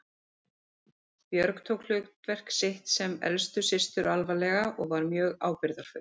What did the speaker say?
Björg tók hlutverk sitt sem elstu systur alvarlega og var mjög ábyrgðarfull.